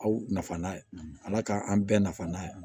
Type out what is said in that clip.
Aw nafa n'a ye ala k'an bɛɛ nafa n'a ye